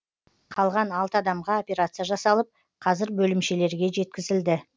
қалған алты адамға операция жасалып қазір бөлімшелерге жеткізілді